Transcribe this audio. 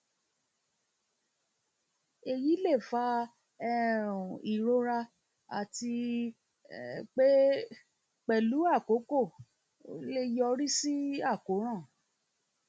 èyí lè fa um ìrora àti um pé pẹlú àkókò lè yọrí sí àkóràn